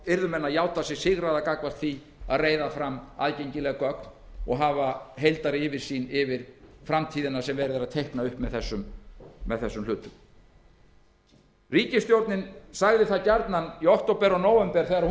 yrðu menn að játa sig sigraða gagnvart því að reiða fram aðgengileg gögn og hafa heildaryfirsýn yfir framtíðina sem verið er að teikna upp með þessum hlutum ríkisstjórnin sagði gjarnan í október og nóvember